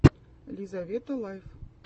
лизавета лайф